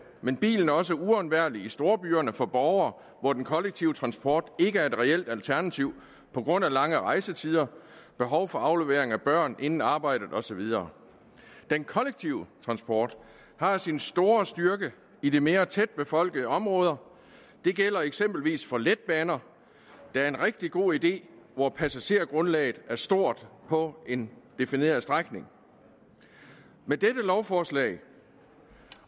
men bilen er også uundværlig i storbyerne for borgere hvor den kollektive transport ikke er et reelt alternativ på grund af lange rejsetider behov for aflevering af børn inden arbejdet og så videre den kollektive transport har sin store styrke i de mere tætbefolkede områder det gælder eksempelvis for letbaner der er en rigtig god idé hvor passagergrundlaget er stort på en defineret strækning med dette lovforslag